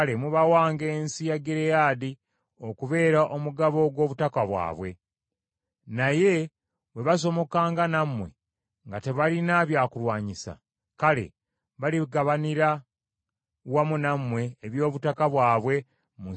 Naye bwe basomokanga nammwe nga tebalina byakulwanyisa, kale baligabanira wamu nammwe eby’obutaka bwabwe mu nsi ya Kanani.”